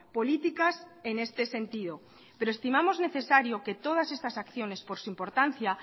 políticas en este sentido pero estimamos necesario que todas estas acciones por su importancia